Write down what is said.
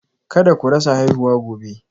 Kada ku rasa haihuwa gobe